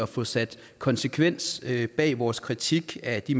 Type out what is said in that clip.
få sat konsekvens bag vores kritik af de